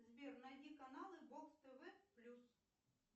сбер найди каналы бокс тв плюс